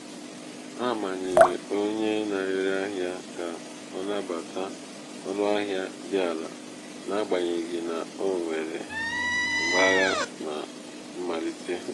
a manyere onye na-ere ahịa ka ọ nabata ọnụ ahịa dị ala n'agbanyeghị na o nwere mgbagha na mmalite.